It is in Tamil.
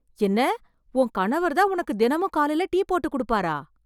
என்ன உன் கணவர் தான் உனக்கு தினமும் காலையில டீ போட்டுக் கொடுப்பாரா